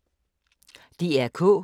DR K